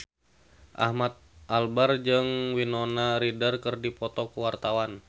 Ahmad Albar jeung Winona Ryder keur dipoto ku wartawan